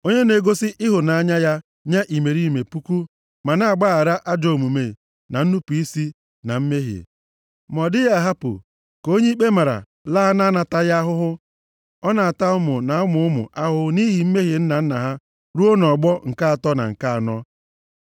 Onye na-egosi ịhụnanya ya nye imerime puku, ma na-agbaghara ajọ omume na nnupu isi, na mmehie. Ma ọ dịghị ahapụ ka onye ikpe mara laa na-anataghị ahụhụ, ọ na-ata ụmụ na ụmụ ụmụ ha ahụhụ nʼihi mmehie nna nna ha ruo nʼọgbọ nke atọ na nke anọ.”